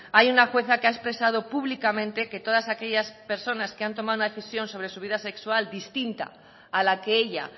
hay una jueza que ha expresado públicamente que todas aquellas personas que han tomado una decisión sobre su vida sexual distinta a la que ella